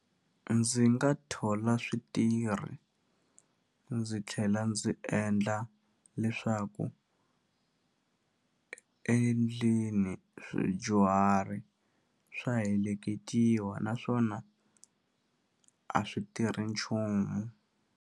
Ndzi nga thola switirhi ndzi tlhela ndzi endla leswaku endlini swidyuhari swa heleketiwa naswona a swi tirhi nchumu.